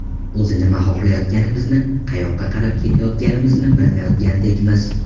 O‘zi nima xohlayotganimizni, qayoqqa qarab ketayotganimizni bilmayotgandekmiz.